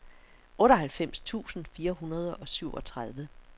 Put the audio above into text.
otteoghalvfems tusind fire hundrede og syvogtredive